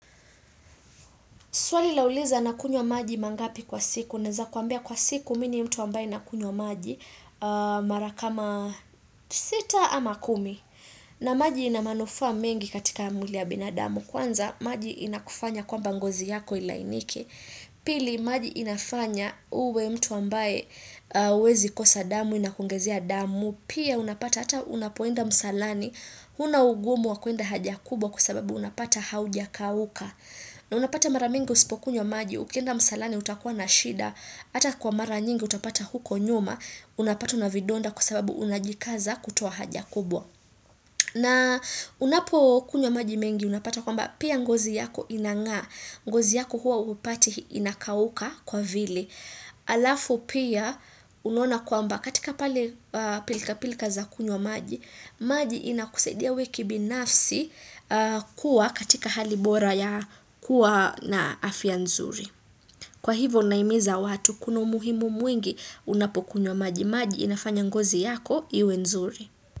Swali lauliza nakunywa maji mangapi kwa siku. Naweza kwambia kwa siku mi ni mtu ambaye na kunywa maji mara kama sita ama kumi. Na maji inamanufaa mengi katika mwili ya binadamu. Kwanza maji inakufanya kwamba ngozi yako ilainike. Pili maji inafanya uwe mtu ambaye hawezi kosa damu inakuongezea damu. Pia unapata hata unapoenda msalani. Huna ugumu wa kwenda haja kubwa kwasababu unapata haujakauka. Na unapata mara mingi usipo kunywa maji, ukienda msalani utakuwa na shida, ata kwa mara nyingi utapata huko nyuma, unapatwa na vidonda kusababu unajikaza kutuwa haja kubwa. Na unapo kunywa maji mengi unapata kwamba pia ngozi yako inang'aa. Ngozi yako huwa hupati inakauka kwa vile. Alafu pia unaona kwamba katika pale pilka pilka za kunywa maji. Maji inakusaidia we kibinafsi kuwa katika hali bora ya kuwa na afya nzuri. Kwa hivo nahimiza watu kuna umuhimu mwingi unapo kunywa maji. Maji inafanya ngozi yako iwe nzuri.